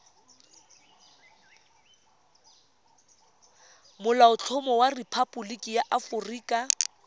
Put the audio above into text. molaotlhomo wa rephaboliki ya aforika